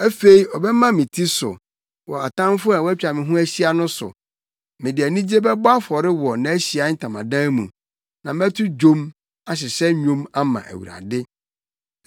Afei ɔbɛma me ti so wɔ atamfo a wɔatwa me ho ahyia no so; mede anigye bɛbɔ afɔre wɔ nʼAhyiae Ntamadan mu; na mɛto dwom, ahyehyɛ nnwom ama Awurade.